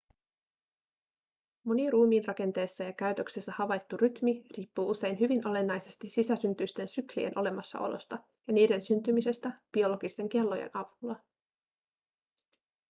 moni ruumiinrakenteessa ja käytöksessä havaittu rytmi riippuu usein hyvin olennaisesti sisäsyntyisten syklien olemassaolosta ja niiden syntymisestä biologisten kellojen avulla